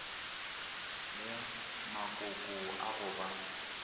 le makoko a go ba